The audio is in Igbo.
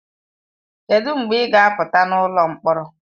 Kedụ mgbe ị ga apụta n'ụlọ mkpọrọ?